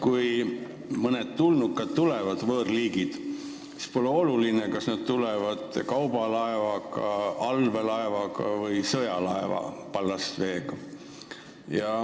Kui mõned tulnukad, võõrliigid tulevad, siis pole oluline, kas nad tulevad kaubalaeva, allveelaeva või sõjalaeva ballastveega.